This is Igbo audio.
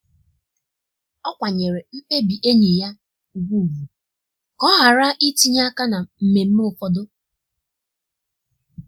ọ kwanyere mkpebi enyi ya ugwu ugwu ka ọ ghara itinye aka na mmemme ụfọdụ.